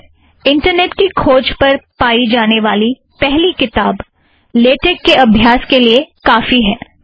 अक्सर इंटरनॆट की खोज पर पायी जाने वाली पहली किताब लेटेक के अभ्यास के लिए काफ़ी है